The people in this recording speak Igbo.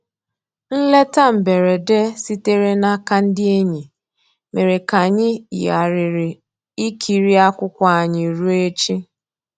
Nlétà mbèredè sìtèrè n'àka ndí ényì mèrè kà ànyị́ yìghàrị̀rị́ ìkìrí akwụ́kwọ́ ànyị́ rùó èchì.